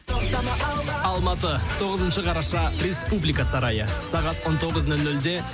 тоқтама алға алматы тоғызыншы қараша республика сарайы сағат он тоғыз нөл нөлде